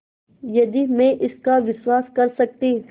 यदि मैं इसका विश्वास कर सकती